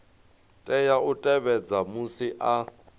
tea u tevhedza musi a